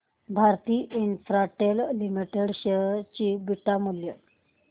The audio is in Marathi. भारती इन्फ्राटेल लिमिटेड शेअर चे बीटा मूल्य